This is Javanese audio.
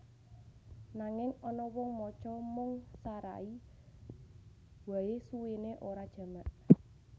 Nanging ana wong maca mung sarai wae suwene ora jamak